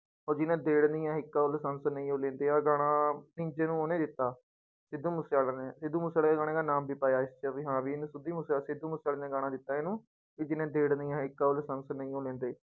ਉਹ ਜਿਹਨੇ ਦੇੜਨੀ ਆ ਇੱਕ ਲਾਇਸੈਂਸ ਨਹੀਂ ਉਹ ਲੈਂਦੇ ਆਹ ਗਾਣਾ ਨੀਂਜੇ ਨੂੰ ਉਹਨੇ ਦਿੱਤਾ ਸਿੱਧੂ ਮੂਸੇਵਾਲੇ ਨੇ, ਸਿੱਧੂ ਮੂਸੇਵਾਲੇ ਗਾਣੇ ਕਾ ਨਾਮ ਵੀ ਪਾਇਆ ਇਸ ਚ ਵੀ ਹਾਂ ਵੀ ਇਹਨੂੰ ਸਿੱਧੂ ਮੂਸੇ ਸਿੱਧੂ ਮੂਸੇਵਾਲੇ ਨੇ ਗਾਣਾ ਦਿੱਤਾ ਇਹਨੂੰ, ਵੀ ਜਿਹਨੇ ਦੇੜਨੀ ਆ ਇੱਕ ਉਹ ਲਾਇਸੈਂਸ ਨਹੀਂਓ ਲੈਂਦੇ।